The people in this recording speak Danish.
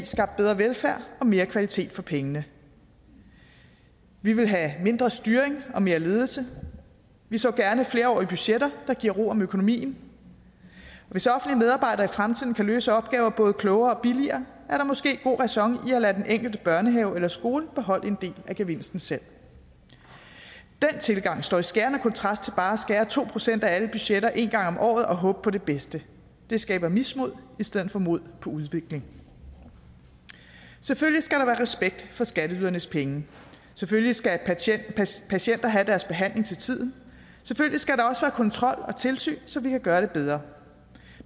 skabt bedre velfærd og mere kvalitet for pengene vi vil have mindre styring og mere ledelse vi så gerne flerårige budgetter der giver ro om økonomien hvis offentlige medarbejdere i fremtiden kan løse opgaver både klogere og billigere er der måske god ræson i at lade den enkelte børnehave eller skole beholde en del af gevinsten selv den tilgang står i skærende kontrast til bare at skære to procent af alle budgetter en gang om året og håbe på det bedste det skaber mismod i stedet for mod på udvikling selvfølgelig skal der være respekt for skatteydernes penge selvfølgelig skal patienter have deres behandling til tiden selvfølgelig skal der også kontrol og tilsyn så vi kan gøre det bedre